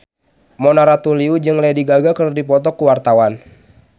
Mona Ratuliu jeung Lady Gaga keur dipoto ku wartawan